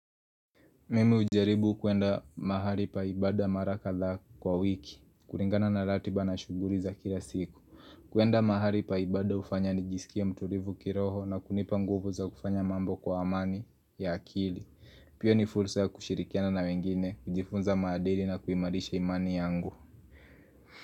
Mimi ujaribu kuenda mahali pa ibada mara kadha kwa wiki, kulingana na ratiba na shughuli za kila siku. Kuenda mahali pa ibada hufanya nijisikie mtulivu kiroho na kunipa nguvu za kufanya mambo kwa amani ya akili. Pia ni fursa ya kushirikiana na wengine, kujifunza maadili na kuimarisha imani yangu.